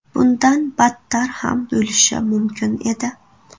Bundan battar ham bo‘lishi mumkin edi.